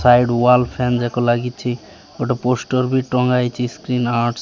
Side wall fan ଯାକ ଲାଗିଚି। ଗୋଟେ ପୋଷ୍ଟର ବି ଟଙ୍ଗା ହୋଇଚି। ସ୍କ୍ରିନ୍ ଆଟ --